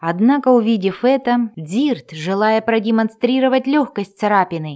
однако увидев это дирт желая продемонстрировать лёгкость царапины